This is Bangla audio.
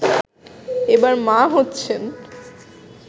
এবার মা হচ্ছেন